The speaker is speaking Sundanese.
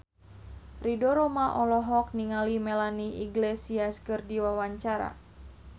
Ridho Roma olohok ningali Melanie Iglesias keur diwawancara